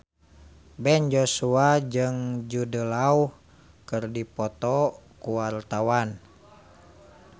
Ben Joshua jeung Jude Law keur dipoto ku wartawan